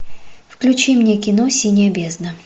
включи мне кино синяя бездна